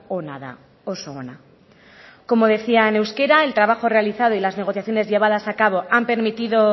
ona da oso ona como decía en euskera el trabajo realizado y las negociaciones llevadas a cabo han permitido